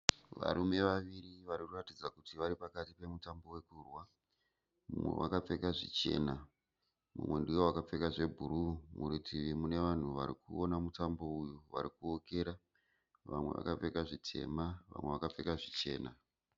Varume vaviri varikuratidza kuti vari pakati pemutambo wekurwa. Mumwe akapfeka zvichena mumwe ndiye akapfeka zvebhuruu. Murutivi mune vanhu arikuona mitambo uyu vari kuwokera. Vamwe vakapfeka zvitema vamwe vakapfeka zvichena.